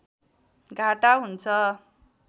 घाटा हुन्छ